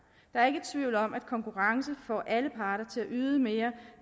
er ikke tvivl om at konkurrence får alle parter til at yde mere